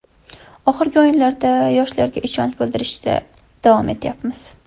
Oxirgi o‘yinlarda yoshlarga ishonch bildirishda davom etyapmiz.